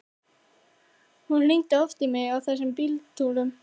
Hann hringdi oft í mig á þessum bíltúrum.